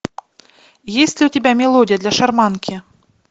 есть ли у тебя мелодия для шарманки